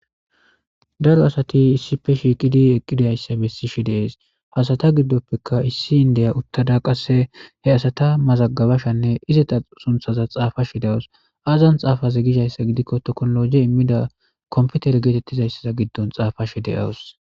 Daaro asati issippe shiqqidi eqqidaysa bessishe de'es ha asata giddopeka issi indiya uttada qasse he asata mazagabashe izzeta sunththaza xafashe dawusu azan xaafaze gizayssa gidikko tekkinolojey immida komppiteren gettetizasa giddon xaafashe de'awusu